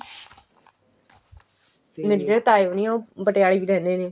ਮੇਰੇ ਜਿਹੜੇ ਤਾਏ ਹੋਣੀ ਨੇ ਉਹ ਪਟਿਆਲੇ ਹੀ ਰਹਿੰਦੇ ਨੇ